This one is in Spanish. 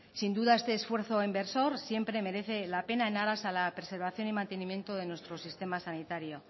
sin duda este esfuerzo inversor siempre merece la pena en aras a la preservación y mantenimiento de nuestro sistema sanitario